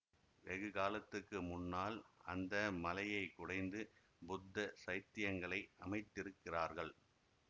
வெகு காலத்துக்கு முன்னால் அந்த மலையை குடைந்து புத்த சைத்தியங்களை அமைத்திருக்கிறார்கள்